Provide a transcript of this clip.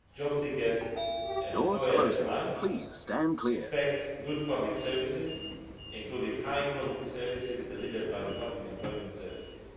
Job seekers and employers alike expect good public services, including high quality services delivered by the public employment services.